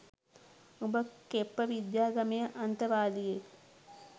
උඹ කෙප්ප විද්‍යාගමේ අන්තවාදියෙක්